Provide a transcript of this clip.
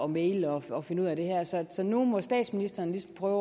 mægle og og finde ud af det her så så nu må statsministeren ligesom prøve